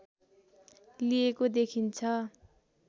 लिएको देखिन्छ